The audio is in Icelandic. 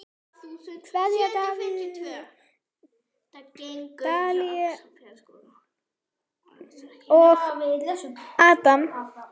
Kveðja: Davíð, Daníel og Adam.